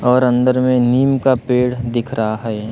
और अंदर में नीम का पेड़ दिख रहा है।